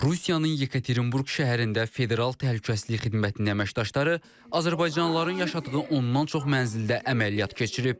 Rusiyanın Yekaterinburq şəhərində federal təhlükəsizlik xidmətinin əməkdaşları azərbaycanlıların yaşadığı ondan çox mənzildə əməliyyat keçirib.